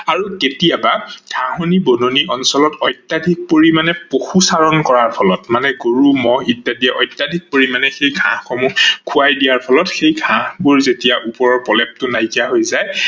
আৰু কেতিয়াবা ঘাহনি-বননি অঞ্চল অত্যাধিক পৰিমানে পশু চাৰন কৰাৰ ফলত অৰ্থাৎ গৰু, মহ ইত্যাদি অত্যাধিক পৰিমানে সেই ঘাহ সমূহ খোৱাই দিয়াৰ ফলত সেই ঘাহবোৰ যেতিয়া ওপৰৰ প্ৰলেপটো নাই কিয়া হৈ যায়